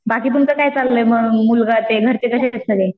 बाकी तुमचं काय चाललंय मग मुलगा ते घरचे कसे आहेत सगळे?